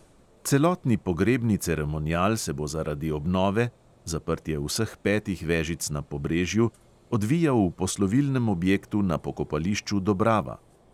Celotni pogrebni ceremonial se bo zaradi obnove (zaprtje vseh petih vežic na pobrežju) odvijal v poslovilnem objektu na pokopališču dobrava.